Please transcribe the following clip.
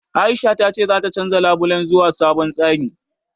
Aisha ta ce zata canja labulen zuwa sabon tsari.